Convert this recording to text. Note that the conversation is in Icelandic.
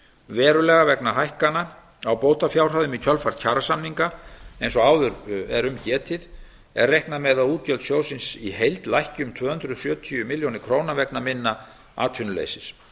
verulega vegna hækkana á bótafjárhæðum í kjölfar kjarasamninga eins og áður er um getið er reiknað með að útgjöld sjóðsins í heild lækki um tvö hundruð sjötíu milljónum króna vegna minni atvinnuleysis